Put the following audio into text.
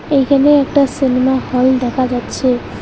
এইখানে একটা cinema hall দেখা যাচ্ছে।